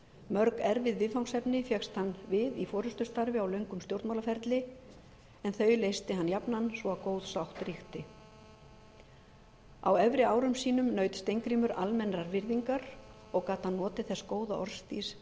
mörg erfið viðfangsefni fékkst hann við í forustustarfi á löngum stjórnmálaferli en þau leysti hann jafnan svo að góð sátt ríkti á efri árum sínum naut steingrímur almennrar virðingar og gat hann notið þess góða orðstírs sem